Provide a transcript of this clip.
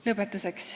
Lõpetuseks.